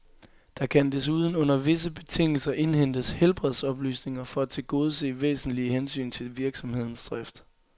Der kan desuden under visse betingelser indhentes helbredsoplysninger for at tilgodese væsentlige hensyn til virksomhedens drift.